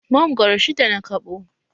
Mangoro shidda na kaɓo